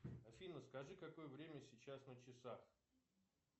афина скажи какое время сейчас на часах